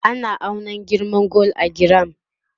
ana auna girman gwal a giram